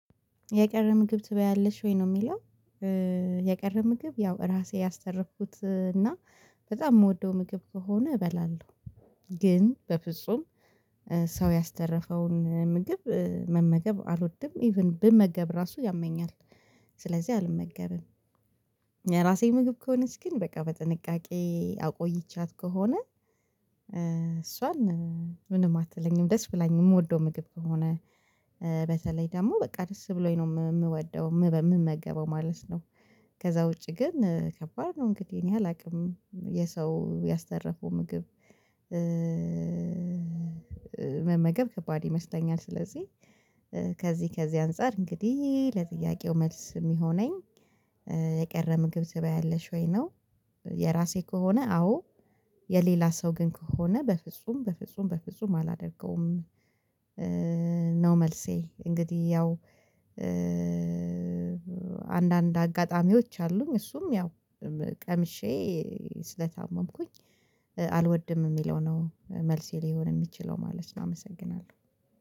የቀረ ምግብ ትባያለሽ ወይ ነው የሚለው? የቀረ ምግብ ያው ራሴ ያስተረፍኩት እና በጣም የምወደው ምግብ ከሆነ እበላለሁ። ግን በፍጹም ሰው ያስተረፈውን ምግብ መመገብ አልወድም ኢቭን ብመገብ ራሱ ያመኛል ስለዚህ አልመገብም። የራሴ ምግብ ከሆነች ግን በቃ በጥንቃቄ አቆይቻት ከሆነ እሷን ምንም አትለኝም ደስ ብላኝ የምወደው ምግብ ከሆነ በተለይ ደግሞ በቃ ደስ ብሎኝ ነው የምወደው በምመገበው ማለት ነው። ከዛ ውጪ ግን ከባድ ነው እንግዲህ እኔ አላቅም የሰው ያስተረፈው ምግብ መመገብ ከባድ ይመስለኛል ስለዚህ። ከዚህ ከዚህ አንፃር እንግዲህ ለጥያቄው መልስ የሚሆነኝ የቀረ ምግብ ዘበይ አለሽ ወይ ነው? የራሴ ከሆነ አዎ የሌላ ሰው ግን ከሆነ በፍጹም በፍጹም በፍጹም አላደርገውም። ነው መልሴ እንግዲህ ያው አንዳንድ አጋጣሚዎች አሉኝ እሱም ያው ቀምሼ ስለታመምኩኝ አልወድም የሚለው ነው መልሴ ሊሆን የሚችለው ማለት ነው። አመሰግናለሁ